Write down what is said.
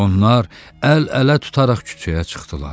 Onlar əl-ələ tutaraq küçəyə çıxdılar.